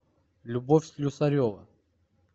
любовь слюсарева